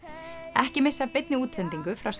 ekki missa af beinni útsendingu frá